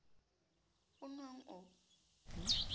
oo o o nwang o